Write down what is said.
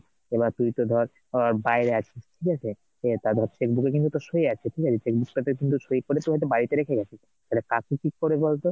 এবার তুই তো ধর ,বাইরে আছিস ঠিক আছে এই তোর হচ্ছে cheque book এ কিন্তু তোর সই আছে ঠিক আছে cheque book টাতে কিন্তু সই করে তুই হয়তো বাড়িতে রেখে গেছিস তাহলে কাকু কি করবে কি বলতো?